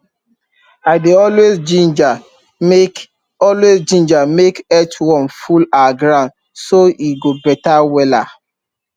i dey always ginger make always ginger make earthworm full our ground so e go better wella